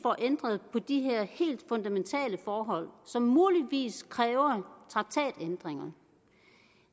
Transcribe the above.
ændret på de her helt fundamentale forhold som muligvis kræver traktatændringer